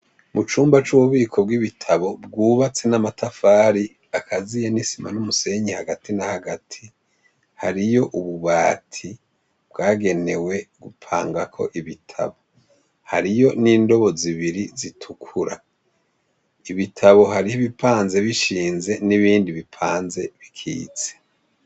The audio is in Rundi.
Mucumba c’ububiko bw’ibitabo bwubatse n’amatafari akaziye n’isima n’umusenyi hagati na hagati. Hariyo ububati bwagenewe gupangako ibitabo, hariyo n’indobo zibiri zitukura, ibitabo harih’ibipanze bishinze n’ibindi bipanze bikitse.